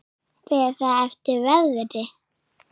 Fer það eftir veðri.